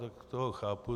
Tak toho chápu.